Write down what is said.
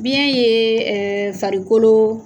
Biyɛn ye farikolo